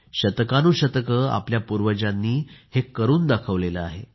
शतकानुशतके आपल्या पूर्वजांनी हे करून दाखवले आहे